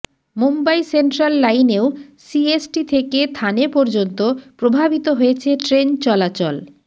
Mumbai central লাইনেও CST থেকে থানে পর্যন্ত প্রভাবিত হয়েছে ট্রেন চলাচল